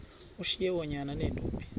ushiye oonyana neentombi